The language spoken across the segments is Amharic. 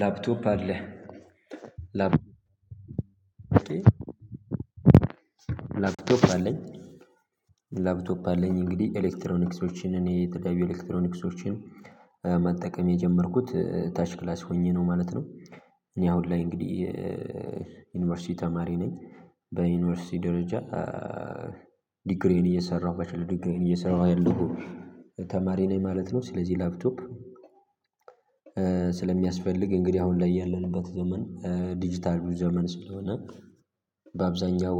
ላፕቶፕ አለ ላፕ ላፕቶፕ አለኝ ላፕቶፕ አለኝ እንግዲህ ኤሌክትሮኒክሶችን እኔ ጠቃሚ ኤሌክትሮኒክሶችን መጠቀም የጀመርኩት ታች ክላስ ሆኘ ነው ማለት ነው። እኔ አሁን ላይ እንግዲህ ዩኒቨርሲቲ ተማሪ ነኝ። በዩኒቨርሲቲ ደረጃ ዲግሪዬን እየሰራሁ በችለር ድግሬዬን እየሰራሁ ያለሁ ተማሪ ነኝ ማለት ነው። ስለዚህ ላፕቶፕ ስለሚያስፈልግ እንግዲህ አሁን ላይ ያለንበት ዘመን ዲጂታል ዘመን ስለሆነ በአብዛኛው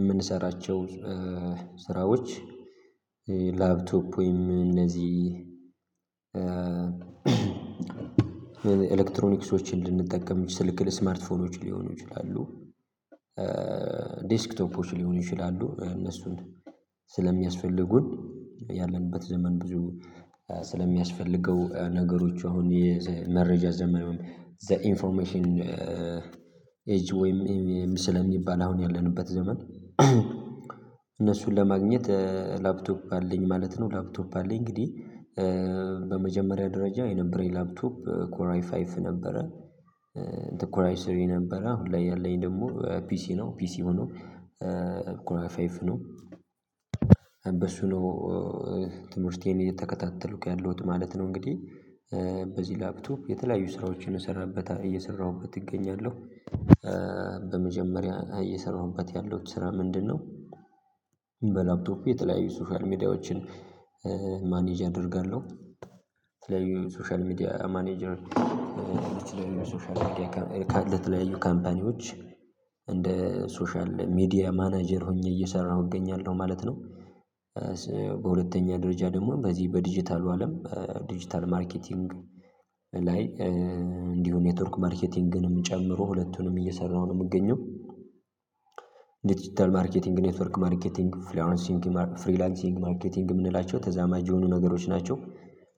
የምንሰራቸው ስራዎች ላፕቶፕ ወይም እነዚህ ኤሌክትሮኒክሶችን ልንጠቀም ስልክ ለስማርት ፎኖች ሊሆኑ ይችላሉ። ዴስክቶፖች ሊሆኑ ይችላሉ እነሱን ስለሚያስፈልጉን ያለንበት ዘመን ብዙ ስለሚያስፈልገው ነገሮች አሁን የመረጃ ዘመን ዘ ኢንፎርሜሽን ኤጅ ወይም ኤም ኤም ስለሚባል አሁን ያለንበት ዘመን። እነሱን ለማግኘት ላፕቶፕ አለኝ ማለት ነው። ላፕቶፕ አለኝ እንግዲህ በመጀመሪያ ደረጃ የነበረኝ ላፕቶፕ ኮራይ ፋይቭ ነበረ። ኮራይ ስሪ ነበረ ለያለኝ ደግሞ ፒሲ ነው። ፒሲ ሆኖ ኮራይ ፈይፍ ነው። በሱ ነው ትምህርቴን እየተከታተልኩ ያለሁት ማለት ነው። እንግዲህ በዚህ ላፕቶፕ የተለያዩ ስራዎችን እሰራበታ እየሰራሁበት እገኛለሁ። በመጀመሪያ እየሰራሁበት ያለው ስራ ምንድነው? በላፕቶፐ የተለያዩ ሶሻል ሚዲያዎችን ማኔጅ እደርጋለሁ የተለያዩ ሶሻል ሚዲያ ማኔጀር የተለያዩ ሶሻል ሚዲያ ካለ ካምፓኒዎች እንደ ሶሻል ሚዲያ ማናጀር ሆኜ እየሰራሁ እገኛለሁ ማለት ነው። በሁለተኛ ደረጃ ደግሞ በዚህ በዲጂታሉ አለም ዲጂታል ማርኬቲንግ ላይ እንዲሁ ኔትወርክ ማርኬቲንግንም ጨምሮ ሁለቱንም እየሰራሁ ነው የምገኘው። ዲጂታል ማርኬቲንግ ኔትወርክ ማርኬቲንግ ፍሪላንሲንግ ፍሪላንሲንግ ማርኬቲንግ የምንላቸው ተዛማጅ የሆኑ ነገሮች ናቸው።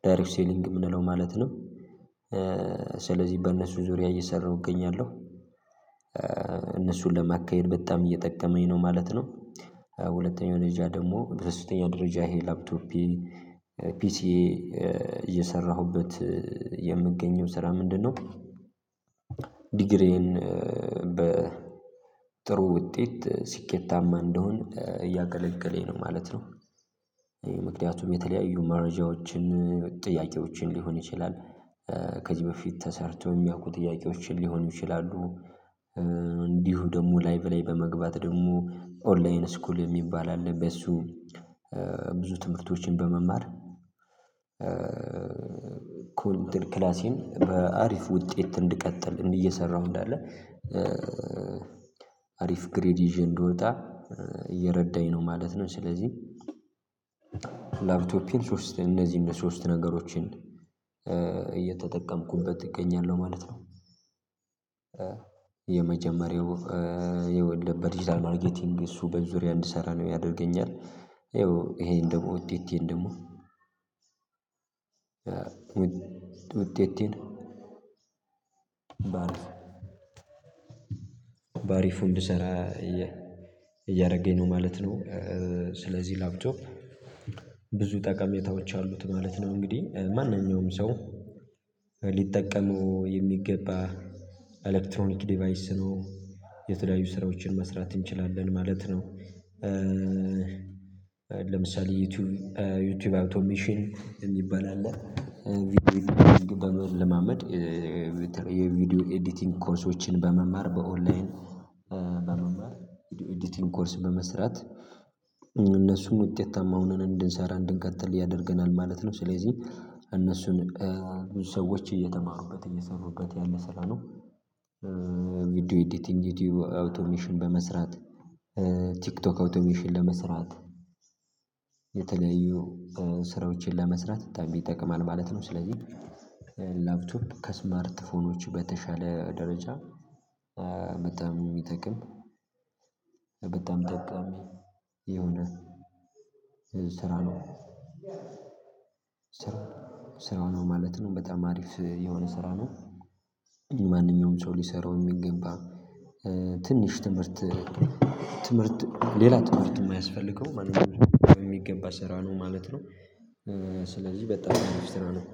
ዳይሬክ ሴሊንግ የምንለው ማለት ነው። ስለዚህ በእነሱ ዙሪያ እየሰራሁ እገኛለሁ። እነሱን ለማካሄድ በጣም እየጠቀመኝ ነው ማለት ነው። ሁለተኛው ደረጃ ደግሞ በሶስተኛ ደረጃ ይሄ ላፕቶፐን ፒሲዬ እየሰራሁበት የምገኘው ስራ ምንድነው? ዲግሪዬን በጥሩ ውጤት ሲኬታማ እንደሆን እያገለገለኝ ነው ማለት ነው። ምክንያቱም የተለያዩ መረጃዎችን ጥያቄዎችን ሊሆን ይችላል። ከዚህ በፊት ተሰርተው የሚያውቁ ጥያቄዎችን ሊሆን ይችላሉ። እንዲሁ ደግሞ ላይቭ ላይ በመግባት ደግሞ ኦንላይን ስኩል የሚባል አለ በሱ። ብዙ ትምህርቶችን በመማር ኮምቢተር ክላሴን በአሪፍ ውጤት እንድቀጥል እየሰራሁ እንዳለ አሪፍ ግሬድ ይዤ እንድወጣ እየረዳኝ ነው ማለት ነው። ስለዚህ ላፕቶፕ ሶስት እንደዚህ እነዝህም ሶስት ነገሮችን እየተጠቀምኩበት እገኛለሁ ማለት ነው። የመጀመሪያው የወለ በዲጂታል ማርከቲንግ እሱ በዙሪያ እንድሰራ ነው ያደርገኛል የው ይሄን ደግሞ ውጤቴን ደግሞ ውጤቴን በአሪፉ እንድሰራ እያ እያደረገኝ ነው ማለት ነው። ስለዚህ ላፕቶፕ ብዙ ጠቀሜታዎች አሉት ማለት ነው። እንግዲህ ማንኛውም ሰው ሊጠቀመው የሚገባ ኤሌክትሮኒክ ዲቫይስ ነው። የተለያዩ ስራዎችን መስራት እንችላለን ማለት ነው። ለምሳሌ ዩቲዩብ ዩቲዩብ አውቶሜሽን የሚባል አለ። ቪዲዮ ኤዲቲንግ በመለማመድ የቪዲዮ ኤዲቲንግ ኮርሶችን በመማር በኦንላይን በመማር አዲቲንግ ኮርስ በመስራት እነሱን ውጤታማ ሆነን እንድንሰራ እንድንቀጥል ያደርገናል ማለት ነው። ስለዚህ እነሱን ብዙ ሰዎች እየተማሩበት እየሰሩበት ያለ ስራ ነው። ቪዲዮ ኤዲቲንግ ዩቲዩብ አውቶሜሽን በመስራት ቲክቶክ አውቶሜሽን ለመስራት የተለያዩ ስራዎችን ለመስራት በጣም ይጠቅማል ማለት ነው። ስለዚህ ላፕቶፕ ከስማርት ፎኖች በተሻለ ደረጃ በጣም ሚጠቅም በጣም ጠቃሚ የሆነ የ ስራ ነው። ስራ ነው ማለት ነው በጣም አሪፍ የሆነ ስራ ነው። ማንኛውም ሰው ሊሰራው የሚገንባ ትንሽ ትምህርት ትምህርት ሌላ ትምህርት የማያስፈልገው ማንኛውም በሚገባ ስራ ነው ማለት ነው። ስለዚህ በጣም ነው ማስተላለፍ